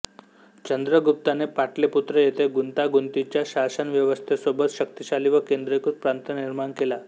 चंद्रगुप्ताने पाटलीपुत्र येथे गुंतागुंतीच्या शासनव्यवस्थेसोबत शक्तिशाली व केंद्रीकृत प्रांत निर्माण केला